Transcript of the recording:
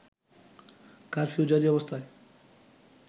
curfew জারি অবস্থায়